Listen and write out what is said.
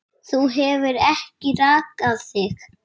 Þú hefur ekki rakað þig.